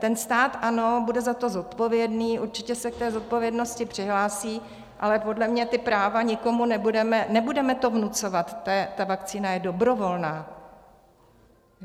Ten stát, ano, bude za to zodpovědný, určitě se k té zodpovědnosti přihlásí, ale podle mě ta práva nikomu nebudeme, nebudeme to vnucovat, ta vakcína je dobrovolná.